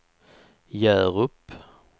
Hjärup